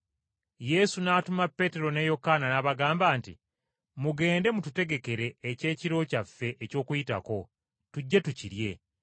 Yesu n’atuma Peetero ne Yokaana n’abagamba nti, “Mugende mututegekere ekyekiro kyaffe eky’okuyitako, tujje tukirye.”